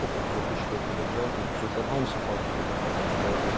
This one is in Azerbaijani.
Çox epizodda iştirak edə bilən, epizodların hamısını takib edə bilən oyunçu lazımdır.